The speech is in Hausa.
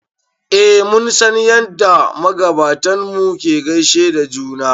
eh mun san yadda magabatanmu ke gaishe da juna